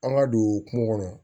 An ka don kungo kɔnɔ